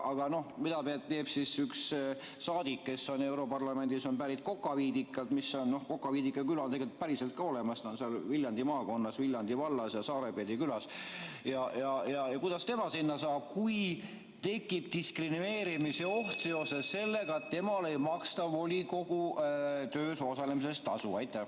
Aga mida teeb üks saadik, kes on europarlamendis ja on pärit Kokaviidikalt – Kokaviidika küla on muide päriselt ka olemas, see on Viljandi maakonnas, Viljandi vallas ja Saarepeedi külas –, ja kuidas tema sinna saab, kui tekib diskrimineerimise oht seoses sellega, et temale ei maksta volikogu töös osalemise eest tasu?